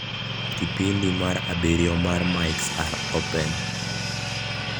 kipindi mar abirio mar mics are open